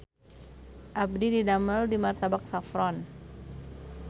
Abdi didamel di Martabak Saffron